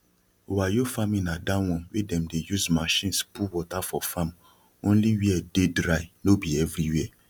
wayyo farming na that one wey dem dey use machines put water for farm only where dey dry no be everywhere